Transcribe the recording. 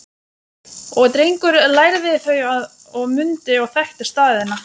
Og Drengur lærði þau og mundi og þekkti staðina